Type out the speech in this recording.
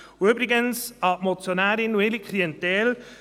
Und übrigens – das ist an die Motionärin und ihre Klientel gerichtet: